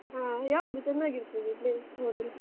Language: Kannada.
ಹ ಯಾವುದು ಚೆನ್ನಾಗಿರ್ತದೆ place ಹೋದ್ರೆ?